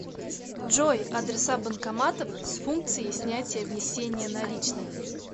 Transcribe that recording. джой адреса банкоматов с функцией снятия внесения наличных